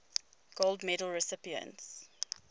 gold medal recipients